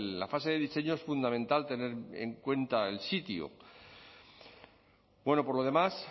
la fase de diseño es fundamental tener en cuenta el sitio bueno por lo demás